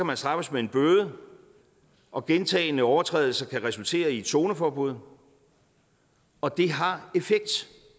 man straffes med en bøde og gentagne overtrædelser kan resultere i et zoneforbud og det har effekt